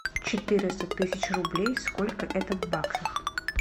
четыреста тысяч рублей сколько это в баксах